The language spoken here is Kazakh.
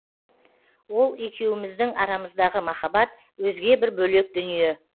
ол екеуміздің арамыздағы махаббат өзге бір бөлек дүние